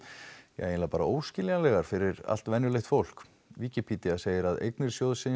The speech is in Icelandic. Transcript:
ja eiginlega bara óskiljanlegar fyrir allt venjulegt fólk Wikipedia segir að eignir sjóðsins